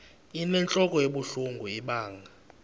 inentlok ebuhlungu ibanga